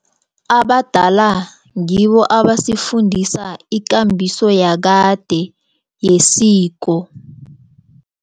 Abadala ngibo abasifundisa ikambiso yakade yesiko.